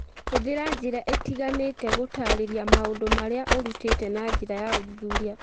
Hũthĩra njĩra itiganĩte gũtaarĩria maũndũ marĩa ũrutĩte na njĩra ya ũthuthuria